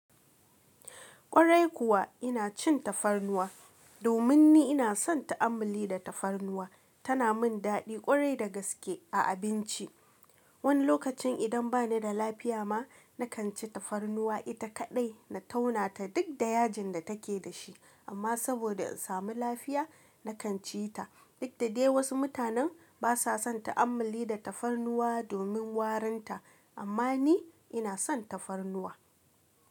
Kwarai kuwa ina cin tafarnuwa domin ni ina son ta'ammali da tafarnuwa. Tana min daɗi ƙwarai da gaske a abinci. Wani lokacin idan bani da lafiya ma, nakan ci tafarnuwa ita kaɗai na tauna ta duk da yajin da take da shi, amma saboda in samu lafiya nakan ci ta. Duk da dai wasu mutanen ba sa son ta'ammali da tafarnuwa domin warinta, amma ni ina son tafarnuwa.